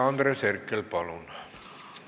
Andres Herkel, palun!